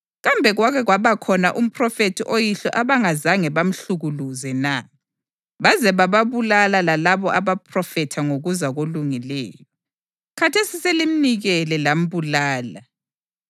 Kambe kwake kwabakhona umphrofethi oyihlo abangazange bamhlukuluze na? Baze bababulala lalabo abaphrofetha ngokuza koLungileyo. Khathesi selimnikele lambulala,